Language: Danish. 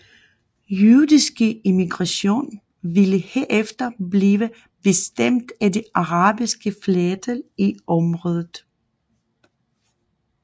Jødiske immigration ville herefter blive bestemt af det arabiske flertal i området